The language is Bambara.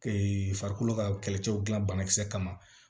farikolo ka kɛlɛcɛw gilan bana kisɛ kama